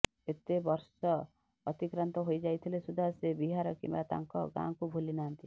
ଏତେ ବର୍ଷ ଅତିକ୍ରାନ୍ତ ହୋଇ ଯାଇଥିଲେ ସୁଦ୍ଧା ସେ ବିହାର କିମ୍ବା ତାଙ୍କ ଗାଁକୁ ଭୁଲି ନାହାନ୍ତି